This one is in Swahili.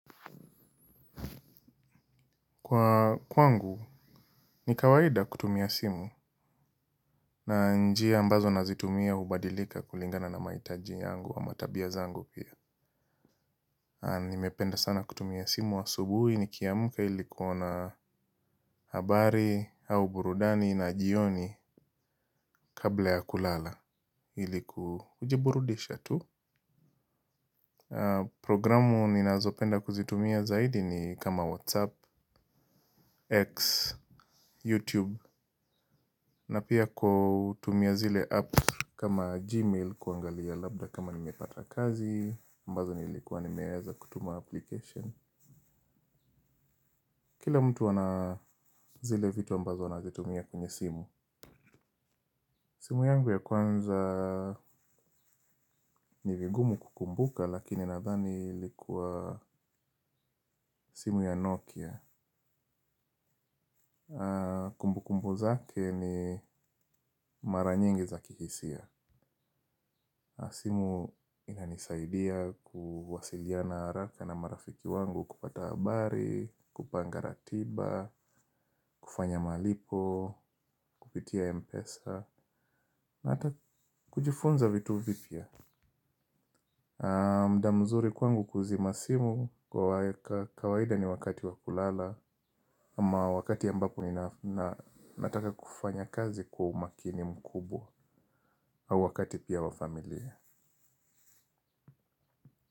Kwa kwangu ni kawaida kutumia simu na njia ambazo nazitumia hubadilika kulingana na mahitaji yangu ama tabia zangu pia. Nimependa sana kutumia simu asubuhi nikiamka ili kuona habari au burudani na jioni kabla ya kulala ili kujiburudisha tu. Programu ninazopenda kuzitumia zaidi ni kama WhatsApp, X, YouTube. Na pia kutumia zile app kama Gmail kuangalia labda kama nimepata kazi aMbazo nilikuwa nimeweza kutuma application. Kila mtu ana zile vitu mbazo anazitumia kwenye simu. Simu yangu ya kwanza ni vigumu kukumbuka lakini nadhani likuwa simu ya Nokia. Kumbu kumbu zake ni mara nyingi za kihisia. Simu inanisaidia kuwasiliana haraka na marafiki wangu kupata habari, kupanga ratiba, kufanya malipo, kupitia mpesa na hata kujifunza vitu vipya. Muda mzuri kwangu kuzima simu kwa kawaida ni wakati wakulala ama wakati ambapo ni nataka kufanya kazi kwa umakini mkubwa au wakati pia wa familia.